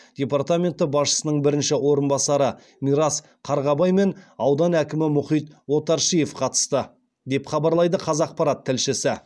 департаменті басшысының бірінші орынбасары мирас қарғабай мен аудан әкімі мұхит отаршиев қатысты деп хабарлайды қазақпарат тілшісі